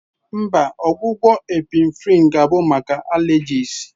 Mba, ogwu ogwu Epinephrine ga-abụ maka allergies.